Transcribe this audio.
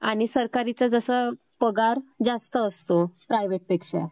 आणि सरकारी चा जसा पगार जास्त असतो प्रायव्हेट पेक्षा